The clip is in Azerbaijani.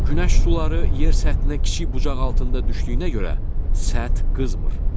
Günəş şüaları yer səthinə kiçik bucaq altında düşdüyünə görə səth qızmır.